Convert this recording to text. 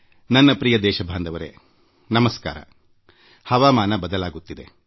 ನನ್ನ ಪ್ರೀತಿಯ ದೇಶವಾಸಿಗಳೇ ನಮಸ್ಕಾರ ಹವಾಮಾನ ಬದಲಾಗುತ್ತಿದೆ